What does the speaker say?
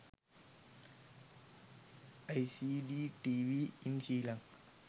lcd tv in sri lanka